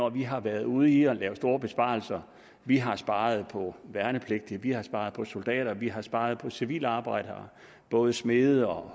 at vi har været ude i at lave store besparelser vi har sparet på værnepligtige vi har sparet på soldater vi har sparet på civilarbejdere både smede